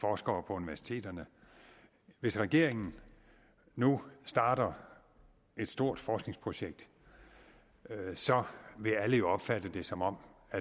forskere på universiteterne hvis regeringen nu starter et stort forskningsprojekt vil alle jo opfatte det som om